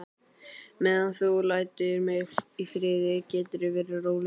Meðan þú lætur mig í friði geturðu verið rólegur.